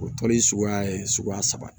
O tɔn in suguya ye suguya saba